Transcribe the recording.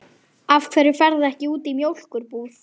Af hverju ferðu ekki út í mjólkur- búð?